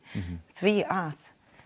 því að